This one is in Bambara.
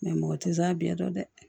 mɔgɔ tɛ s'a bɛɛ dɔn dɛ